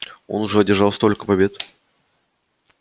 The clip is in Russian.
он уже одержал столько побед